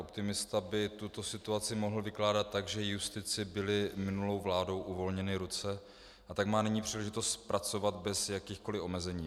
Optimista by tuto situaci mohl vykládat tak, že justici byly minulou vládou uvolněny ruce, a tak má nyní příležitost pracovat bez jakýchkoliv omezení.